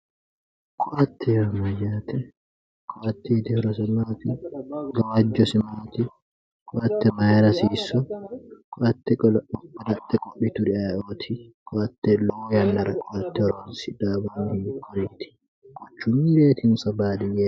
Koatte yaa mayate, koattete gawajose maati, koatte mayra haiisu, koatte kalaqe fushituri ayeeoti, koatte lowo yannara ,quchumahonso badiyyete.